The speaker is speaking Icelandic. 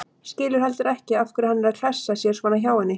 Skilur heldur ekki af hverju hann er að klessa sér svona hjá henni.